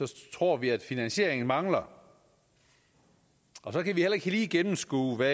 tror vi at finansieringen mangler så kan vi heller ikke lige gennemskue hvad